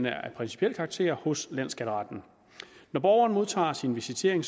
er af principiel karakter hos landsskatteretten når borgeren modtager sin visitering